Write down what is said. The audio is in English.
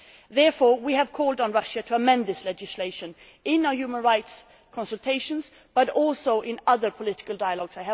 Therefore, we have called on Russia to amend this legislation in our human rights consultations, but also in other political dialogues.